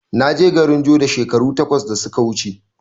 Naje garin joda shekaru takwas da suka wuce